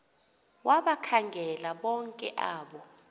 wabakhangela bonke abo